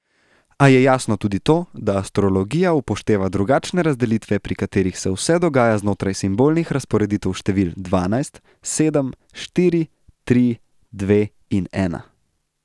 A je jasno tudi to, da astrologija upošteva drugačne razdelitve, pri katerih se vse dogaja znotraj simbolnih razporeditev števil dvanajst, sedem, štiri, tri, dve in ena.